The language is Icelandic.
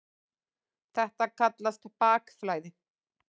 Þetta kallast bakflæði.